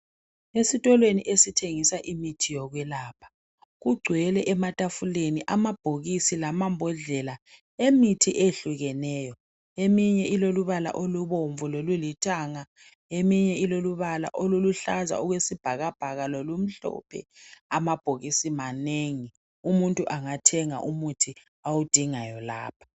Esitolweni esithengisa imithi yokwelapha ,kugcwele ematafuleni amabhokisi lamabhodlela emithi ehlukeneyo. Eminye ilolubala elubomvu lolulithanga eminye ilolubala oluluhlaza okwesibhakabhaka lokumhlophe. Amabhokisi manengi umuntu angathenga umuthi awudingayo lapha.